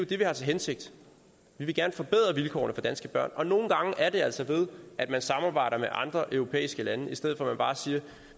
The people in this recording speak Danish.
det vi har til hensigt vi vil gerne forbedre vilkårene for danske børn og nogle gange er det altså ved at man samarbejder med andre europæiske lande i stedet for at man bare siger